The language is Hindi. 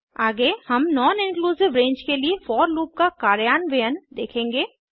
आगे हम नॉन इंक्लूसिव रेंज के लिए फोर लूप का कार्यान्वयन देखेंगे